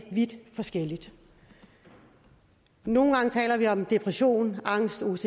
vidt forskelligt nogle gange taler vi om depression angst ocd